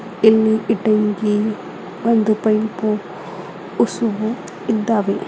ಇಲ್ಲಿ ಇಟಂಗಿ ಒಂದು ಪೈಪು ಉಸುಬು ಇದ್ದಾವೆ.